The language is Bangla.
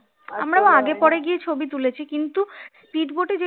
আমরা আগে পরে গিয়ে ছবি তুলেছি কিন্তু speed boat এ